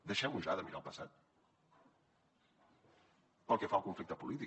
deixem ja de mirar el passat pel que fa al conflicte polític